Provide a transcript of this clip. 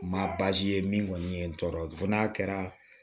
Ma ye min kɔni ye n tɔɔrɔ fo n'a kɛra